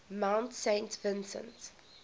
mount saint vincent